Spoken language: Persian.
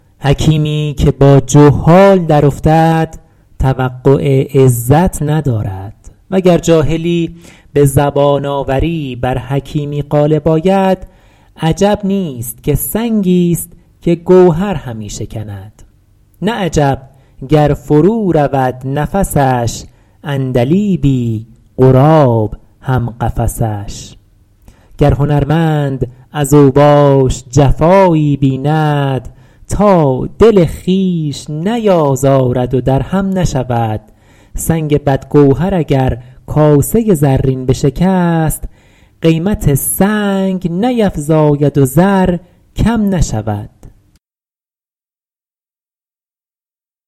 حکیمی که با جهال درافتد توقع عزت ندارد وگر جاهلی به زبان آوری بر حکیمی غالب آید عجب نیست که سنگی ست که گوهر همی شکند نه عجب گر فرو رود نفسش عندلیبی غراب هم قفسش گر هنرمند از اوباش جفایی بیند تا دل خویش نیازارد و در هم نشود سنگ بد گوهر اگر کاسه زرین بشکست قیمت سنگ نیفزاید و زر کم نشود